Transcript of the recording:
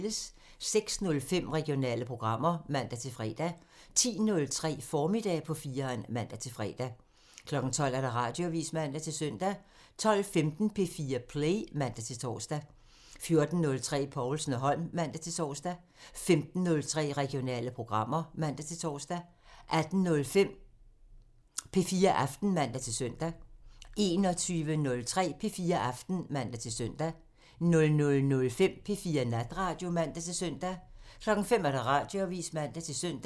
06:05: Regionale programmer (man-fre) 10:03: Formiddag på 4'eren (man-fre) 12:00: Radioavisen (man-søn) 12:15: P4 Play (man-tor) 14:03: Povlsen & Holm (man-tor) 15:03: Regionale programmer (man-tor) 18:05: P4 Aften (man-fre) 21:03: P4 Aften (man-søn) 00:05: P4 Natradio (man-søn) 05:00: Radioavisen (man-søn)